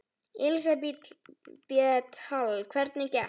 Elísabet Hall: Hvernig gekk?